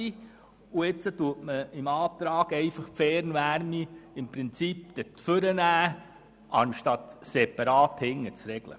Der Antrag wird dann einfach die Fernwärme nach vorne nehmen, anstatt sie weiter hinten separat zu regeln.